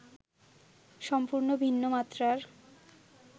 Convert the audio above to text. সম্পূর্ণ ভিন্ন মাত্রার